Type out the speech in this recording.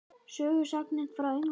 Sögusagnirnar frá Englandi?